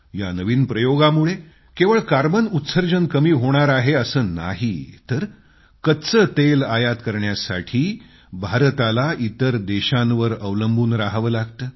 या नवीन प्रयोगामुळे केवळ कार्बन उत्सर्जन कमी होणार आहे असं नाही तर कच्चे तेल आयात करण्यासाठी भारताला इतर देशांवर अवलंबून रहावं लागतं